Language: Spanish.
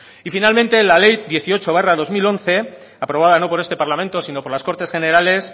y finalmente la ley dieciocho barra dos mil once aprobada no por este parlamente sino por las cortes generales